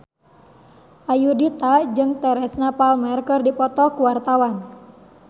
Ayudhita jeung Teresa Palmer keur dipoto ku wartawan